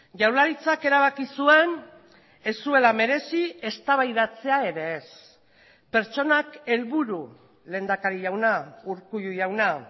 jaurlaritzak erabaki zuen ez zuela merezi eztabaidatzea ere ez pertsonak helburu lehendakari jauna urkullu jauna